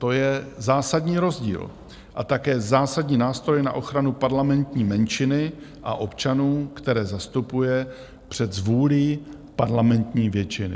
To je zásadní rozdíl a také zásadní nástroj na ochranu parlamentní menšiny a občanů, které zastupuje před zvůlí parlamentní většiny.